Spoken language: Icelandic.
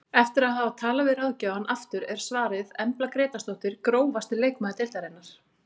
Eftir að hafa talað við ráðgjafann aftur er svarið Embla Grétarsdóttir Grófasti leikmaður deildarinnar?